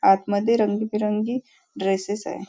आतमध्ये रंगीबिरंगी ड्रेसेस आहेत.